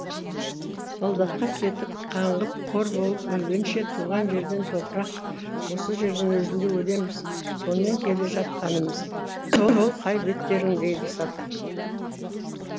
солдатқа кетіп қаңғып қор болып өлгенше туған жерден топырақ осы жердің өзінде өлеміз сонымен келе жатқанымыз бұл қай беттерің дейді сатан